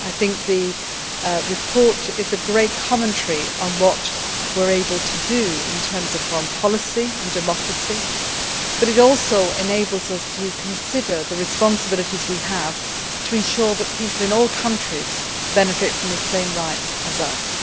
It is a great commentary on what we were able to do in terms of foreign policy and democracy, but it also enables us to consider the responsibilities we have to ensure that people in all countries benefit from the same rights as us.